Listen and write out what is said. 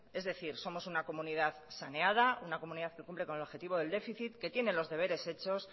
es decir somos una comunidad saneada una comunidad que cumple con el objetivo del déficit que tiene los deberes hechos